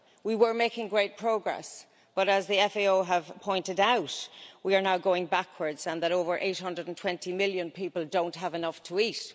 We were making great progress, but as the FAO have pointed out, we are now going backwards and over 820 million people don't have enough to eat.